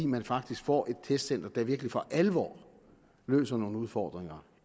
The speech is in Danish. man faktisk får et testcenter der virkelig for alvor løser nogle udfordringer